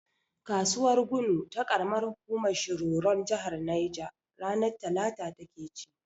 Kasuwar gunu na karamar hukumar shiroron jahar neja, ranar talata ta ke ci.